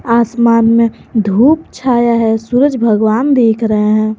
आसमान में धूप छाया है सूरज भगवान दिख रहे हैं।